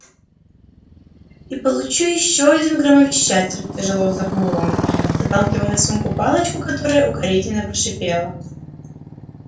и получу ещё один громовещатель тяжело вздохнул рон заталкивая в сумку палочку которая укоризненно прошипела